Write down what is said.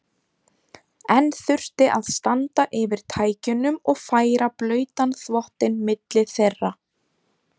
Enn þurfti að standa yfir tækjunum og færa blautan þvottinn milli þeirra.